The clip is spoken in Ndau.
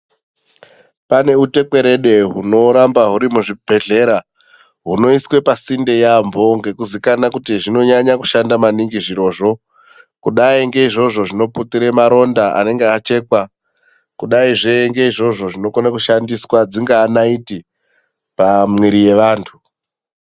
Pane utekwerede hunoramba huri muzvibhedhlera hunoiswe pasinde yaambo ngekuziikana kuti zvinonyanya kushanda maningi zvirozvo. Kudai ngeizvozvo zvinoputire maronda anenge achekwa. Kudaizve ngeizvozvo zvinokone kushandiswa, dzingaa naiti pamwiiri yevantu.